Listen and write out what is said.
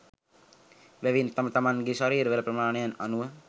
එබැවින් තම තමන්ගේ ශරීරවල ප්‍රමාණයන් අනුව